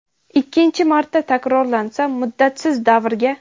ikkinchi marta takrorlansa muddatsiz davrga);.